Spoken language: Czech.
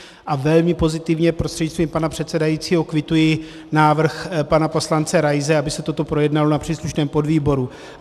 A velmi pozitivně prostřednictvím pana předsedajícího kvituji návrh pana poslance Raise, aby se toto projednalo na příslušném podvýboru.